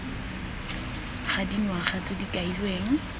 ga dingwaga tse di kailweng